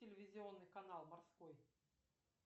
телевизионный канал морской